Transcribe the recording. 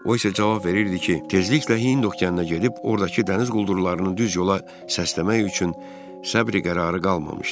O isə cavab verirdi ki, tezliklə Hind okeanına gedib oradakı dəniz quldurlarının düz yola səsləmək üçün səbri-qərarı qalmamışdır.